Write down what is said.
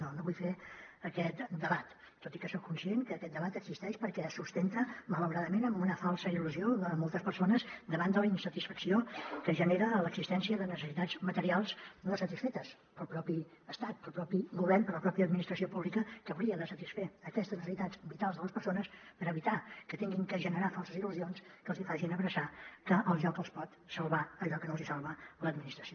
no no vull fer aquest debat tot i que soc conscient que aquest debat existeix perquè es sustenta malauradament amb una falsa il·lusió de moltes persones davant de la insatisfacció que genera l’existència de necessitats materials no satisfetes pel propi estat pel propi govern per la pròpia administració pública que hauria de satisfer aquestes necessitats vitals de les persones per evitar que hagin de generar falses il·lusions que els hi facin abraçar que el joc els pot salvar allò que no els hi salva l’administració